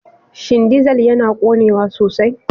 Shin dizal yana ƙonewa sosai?